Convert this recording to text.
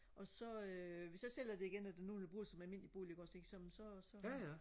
og så hvis jeg sælger det igen og der er nogen der vil bruge det som almindelig bolig ikke også ikke som så så